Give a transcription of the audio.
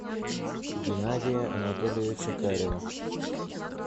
геннадия анатольевича карева